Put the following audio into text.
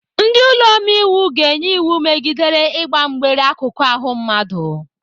Ndị ụlọ omeiwu ga-enye iwu megidere ịgba mgbere akụkụ ahụ mmadụ.